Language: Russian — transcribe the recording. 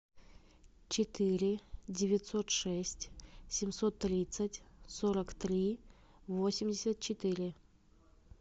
четыре девятьсот шесть семьсот тридцать сорок три восемьдесят четыре